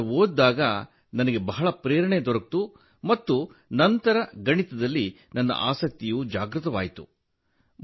ಅದನ್ನು ಓದಿದಾಗ ನನಗೆ ಬಹಳ ಪ್ರೇರಣೆ ದೊರೆಯಿತು ಮತ್ತು ನಂತರ ಗಣಿತದಲ್ಲಿ ನನ್ನ ಆಸಕ್ತಿಯು ಜಾಗೃತವಾಯಿತು